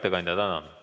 Hea ettekandja, tänan!